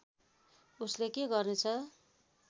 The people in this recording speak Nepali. उसले के गर्नेछ